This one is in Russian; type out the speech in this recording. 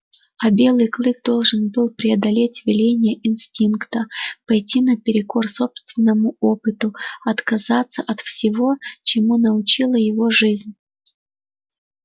а белый клык должен был преодолеть веления инстинкта пойти наперекор собственному опыту отказаться от всего чему научила его жизнь